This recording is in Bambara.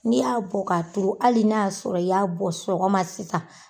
N'i y'a bɔ ka turu hali n'a y'a sɔrɔ i y'a bɔ sɔgɔma sisan